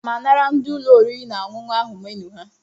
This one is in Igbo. Aga m anara ndị ụlọ oriri na ọṅụṅụ ahụ menu ha.